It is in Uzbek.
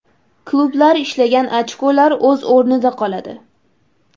Klublar ishlagan ochkolar o‘z o‘rnida qoladi.